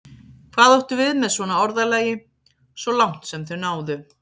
Hvað áttu við með svona orðalagi: svo langt sem þau náðu?